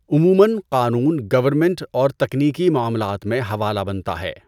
عموما قانون گورنمنٹ اور تکنیکی معاملات میں حوالہ بنتا ہے۔